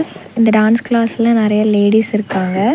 ஸ் இந்த டான்ஸ் கிளாஸ்ல நெறைய லேடிஸ் இருக்காங்க.